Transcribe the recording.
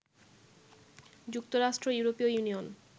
যুক্তরাষ্ট্র, ইউরোপীয় ইউনিয়ন